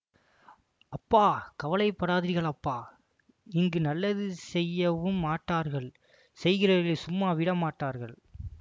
அப்பா கவலைப்படாதீர்களப்பா இங்கு நல்லது செய்யவும் மாட்டார்கள் செய்கிறவர்களை சும்மா விடவும்மாட்டார்கள்